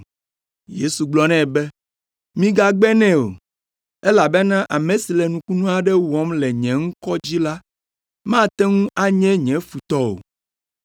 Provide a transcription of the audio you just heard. Yesu gblɔ nɛ be, “Migagbe nɛ o, elabena ame si le nukunu aɖe wɔm le nye ŋkɔ dzi la, mate ŋu anye nye futɔ o.